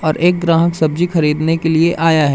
और एक ग्राहक सब्जी खरीदने के लिए आया है।